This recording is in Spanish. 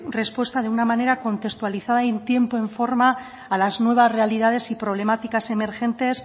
respuesta de una manera contextualizada en tiempo y en forma a las nuevas realidades y problemáticas emergentes